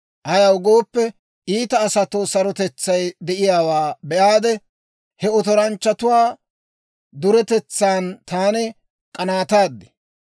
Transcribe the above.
Ayaw gooppe, iita asatoo sarotetsay de'iyaawaa be'aade, he otoranchchatuwaa duretetsaan taani k'anaataad.